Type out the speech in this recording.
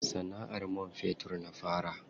Sana'ar man fetur na fara.